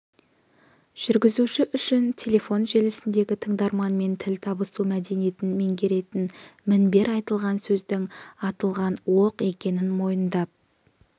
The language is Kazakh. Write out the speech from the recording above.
жүргізуші үшін телефон желісіндегі тыңдарманмен тіл табысу мәдениетін меңгеретін мінбер айтылған сөздің атылған оқ екенін мойындап